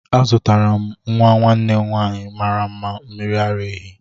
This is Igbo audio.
Azụtara m nwa nwanne m nwanyị mara mma mmiri ara ehi.